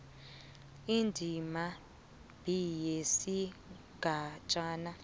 indima b yesigatjana